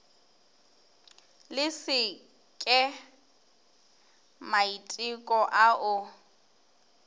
le se ke maiteko ao